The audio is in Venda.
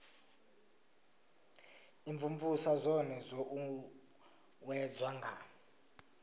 imvumvusa zwone zwo uuwedzwa nga